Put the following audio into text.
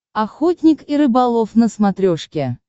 охотник и рыболов на смотрешке